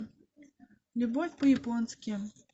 любовь по японски